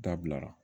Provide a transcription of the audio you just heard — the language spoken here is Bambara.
Dabila